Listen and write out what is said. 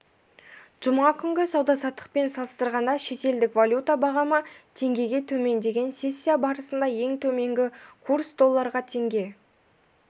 жұма күнгі сауда-саттықпен салыстырғанда шетелдік валюта бағамы теңгеге төмендеген сессия барысында ең төменгі курс долларға теңге